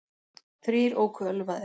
Þrír óku ölvaðir